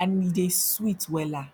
and e dey sweet wella